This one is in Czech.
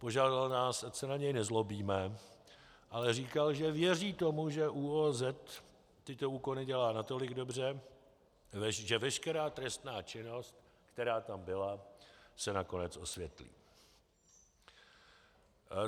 Požádal nás, ať se na něj nezlobíme, ale říkal, že věří tomu, že ÚOOZ tyto úkony dělá natolik dobře, že veškerá trestná činnost, která tam byla, se nakonec osvětlí.